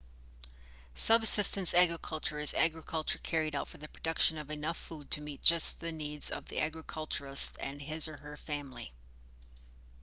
subsistence agriculture is agriculture carried out for the production of enough food to meet just the needs of the agriculturalist and his/her family